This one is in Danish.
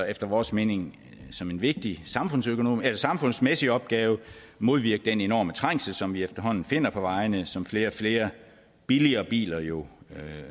efter vores mening som en vigtig samfundsmæssig opgave modvirke den enorme trængsel som vi efterhånden finder på vejene og som flere og flere billigere biler jo